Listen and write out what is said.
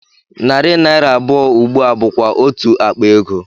Narị naira abụọ ugbu a bụkwa otú akpa ego